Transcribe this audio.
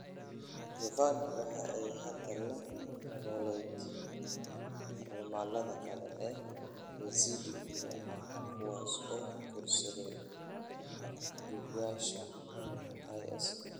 Jovan waxa ay hadda la noolayd carmallada kale ee Yazidi-ga ah kuwaas oo guursaday afduubayaasha IS.